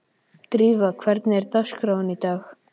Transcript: Drífa, hvernig er dagskráin í dag?